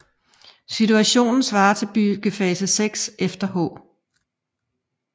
Situationen svarer til byggefase 6 efter H